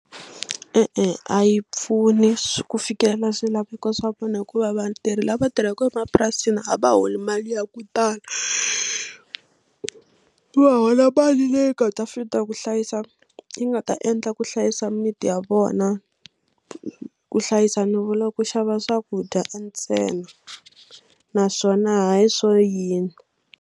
E-e a yi pfuni ku fikelela swilaveko swa vona hikuva vatirhi lava tirhaka emapurasini a va holi mali ya ku tala va hola mali le nga ta fit-a ku hlayisa yi nga ta endla ku hlayisa mimiti ya vona ku hlayisa ni vula ku xava swakudya ntsena naswona hayi swo yini.